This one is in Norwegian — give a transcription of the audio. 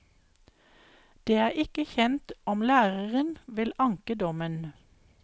Det er ikke kjent om læreren vil anke dommen.